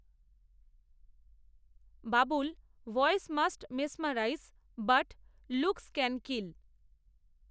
Babul voice must mesmerise, but, looks can kill